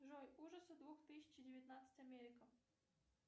джой ужасы две тысячи девятнадцать америка